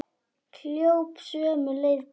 Hljóp sömu leið til baka.